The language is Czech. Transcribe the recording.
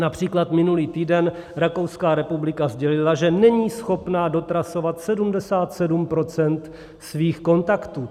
Například minulý týden Rakouská republika sdělila, že není schopna dotrasovat 77 % svých kontaktů.